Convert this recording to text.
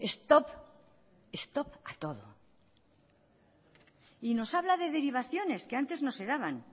stop stop a todo y nos habla de derivaciones que antes no se daban